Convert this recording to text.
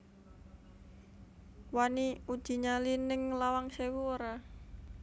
Wani uji nyali ning Lawang Sewu ora